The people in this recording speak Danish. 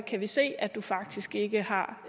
kan vi se at du faktisk ikke har